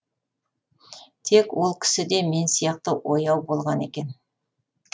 тек ол кісі де мен сияқты ояу болған екен